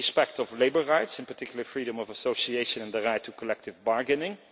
First, respect for labour rights, in particular freedom of association and the right to collective bargaining